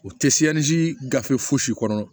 U tɛ si ni si gafe fosi kɔnɔ